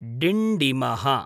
डिण्डिमः